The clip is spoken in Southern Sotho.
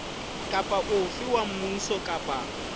kapa ofe wa mmuso kapa